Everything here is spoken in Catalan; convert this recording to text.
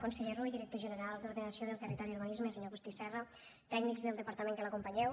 conseller rull director general d’ordenació del territori i urbanisme senyor agustí serra tècnics del departament que l’acompanyeu